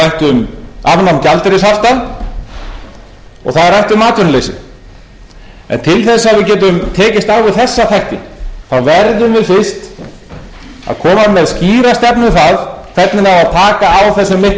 um vexti það er mikið rætt um afnám gjaldeyrishafta og það er rætt um atvinnuleysið en til þess að við getum tekist á við þessa þætti verðum við fyrst að koma með skýra stefnu um það hvernig á að taka á þessum mikla halla